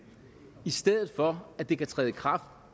i stedet for at det kan træde i kraft